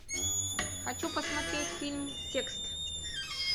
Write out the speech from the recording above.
хочу посмотреть фильм текст